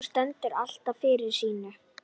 Hún stendur alltaf fyrir sínu.